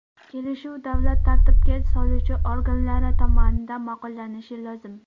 Kelishuv davlat tartibga soluvchi organlari tomonidan ma’qullanishi lozim.